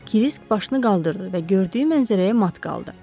Krisk başını qaldırdı və gördüyü mənzərəyə mat qaldı.